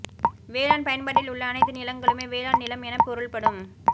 வேளாண் பயன்பாட்டில் உள்ள அனைத்து நிலங்களுமே வேளாண் நிலம் என பொருள்படும்